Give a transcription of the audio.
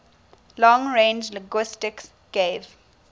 long range linguistics gave